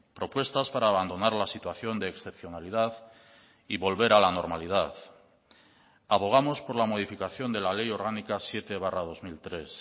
propuestas para abandonar la situación de excepcionalidad y volver a la normalidad abogamos por la modificación de la ley orgánica siete barra dos mil tres